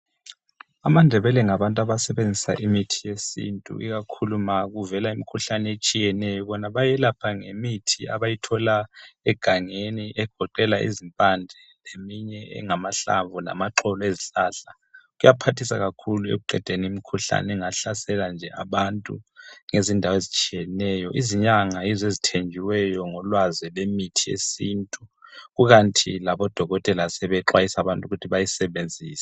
AmaNdebele ngabantu abasebenzisa imithi yesintu ikakhulu ma kuvela imikhuhlane etshiyeneyo. Bona bayelapha ngemithi abayithola egangeni egoqela izimpande, leminye engamahlamvu, lamaxolo ezihlahla, Kuyaphathisa kakhulu ekuqedeni imikhuhlane engahlasela nje abantu ngezindawo ezitshiyeneyo. Izinyanga yizo ezithenjiweyo ngolwazi lwemithi yesintu. Kukanti labodokotela sebexwayisa abantu ukuthi bayisebenzise.